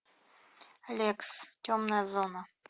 лекс темная зона